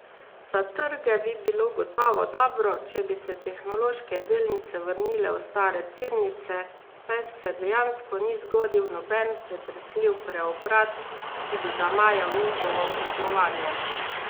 Za trge bi bilo gotovo dobro, če bi se tehnološke delnice vrnile v stare tirnice, saj se dejansko ni zgodil noben pretresljiv preobrat, ki bi zamajal njihovo poslovanje.